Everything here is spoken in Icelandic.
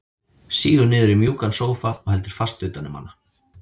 Sígur niður í mjúkan sófa og heldur fast utan um hana.